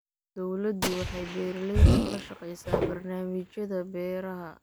Dawladdu waxay beeralayda kala shaqaysaa barnaamijyada beeraha.